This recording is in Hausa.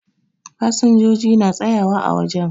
Fasinjoji na tsayawa ã wajen